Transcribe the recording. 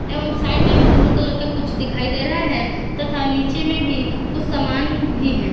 एवं साइड में blue colour का कुछ दिखाई दे रहा हैं तथा नीचे में भीं कुछ समान भीं हैं।